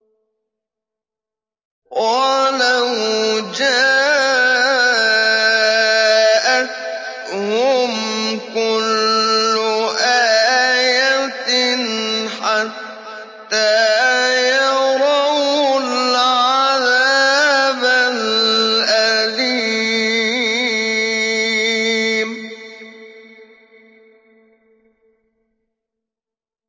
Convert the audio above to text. وَلَوْ جَاءَتْهُمْ كُلُّ آيَةٍ حَتَّىٰ يَرَوُا الْعَذَابَ الْأَلِيمَ